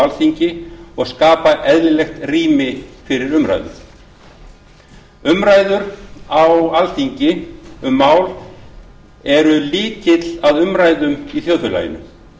alþingi og skapa eðlilegt rými fyrir umræður umræður á alþingi um mál eru lykill að umræðum í þjóðfélaginu